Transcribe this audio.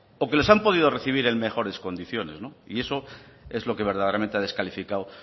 o que les han podido recibir en mejores condiciones y eso es lo que verdaderamente ha descalificado